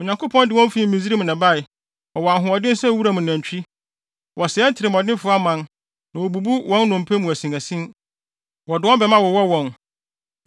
“Onyankopɔn de wɔn fii Misraim na ɛbae; wɔwɔ ahoɔden sɛ wuram nantwi. Wɔsɛe atirimɔdenfo aman na wobubu wɔn nnompe mu asinasin, wɔde wɔn bɛmma wowɔ wɔn.